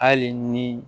Hali ni